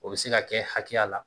O bɛ se ka kɛ hakɛya la